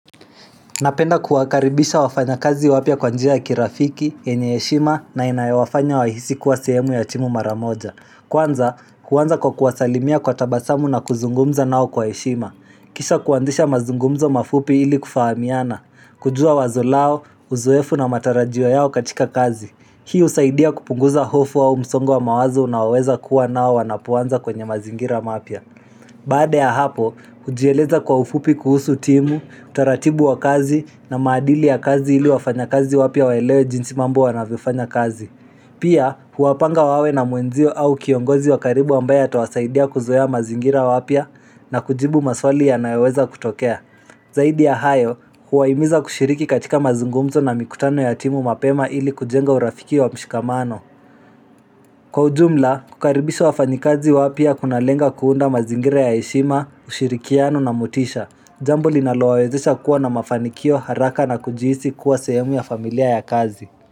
Napenda kuwakaribisha wafanyakazi wapya kwa njia ya kirafiki, yenye heshima na inayowafanya wahisi kuwa sehemu ya timu maramoja. Kwanza, huanza kwa kuwasalimia kwa tabasamu na kuzungumza nao kwa heshima. Kisha kuanzisha mazungumzo mafupi ili kufahamiana. Kujua wazo lao, uzoefu na matarajio yao katika kazi. Hii husaidia kupunguza hofu wa msongo wa mawazo nao weza kuwa nao wanapoanza kwenye mazingira mapya. Baada ya hapo, hujieleza kwa ufupi kuhusu timu, utaratibu wa kazi na maadili ya kazi ili wafanya kazi wapya waelewe jinsi mambo wanavyofanya kazi. Pia, huapanga wawe na mwenzio au kiongozi wa karibu ambaye atawasaidia kuzoea mazingira wapya na kujibu maswali yanayoweza kutokea. Zaidi ya hayo, huwaimiza kushiriki katika mazungumzo na mikutano ya timu mapema ili kujenga urafiki wa mshikamano. Kwa ujumla, kukaribisha wafanyikazi wapya kuna lenga kuunda mazingira ya heshima, ushirikiano na motisha, jambo linalo wawezesha kuwa na mafanikio ya haraka na kujihisi kuwa sehemu ya familia ya kazi.